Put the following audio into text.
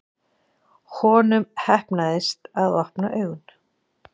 Honum heppnaðist að opna augun.